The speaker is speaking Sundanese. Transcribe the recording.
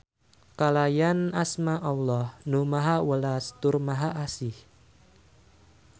Kalayan asma Alloh Nu Maha Welas tur Maha Asih.